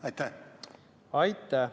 Aitäh!